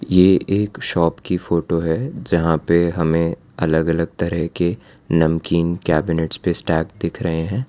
ये एक शॉप की फोटो है जहां पे हमें अलग अलग तरह के नमकीन कैबिनेट दिख रहे हैं।